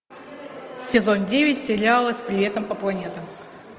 сезон девять сериала с приветом по планетам